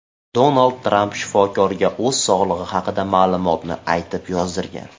Donald Tramp shifokorga o‘z sog‘lig‘i haqidagi ma’lumotni aytib yozdirgan.